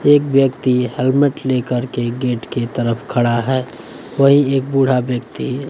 एक व्यक्ति हेलमेट लेकर के गेट के तरफ खड़ा है कोई एक बूढ़ा व्यक्ति--